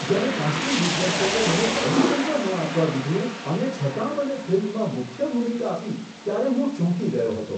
જ્યારે કાસ્ટિંગ દિગ્દર્શકે મને ઓડિશન પણ ન આપવા દીધું અને છતાં મને ફિલ્મમાં મુખ્ય ભૂમિકા આપી, ત્યારે હું ચોંકી ગયો હતો.